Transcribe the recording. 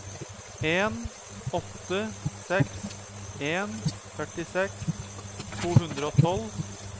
en åtte seks en førtiseks to hundre og tolv